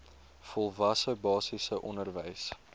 volwasse basiese onderwys